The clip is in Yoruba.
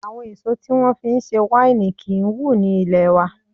Àwọn èso tí wón fi ń ṣe wáìnì kí ń wù ní ilé wa.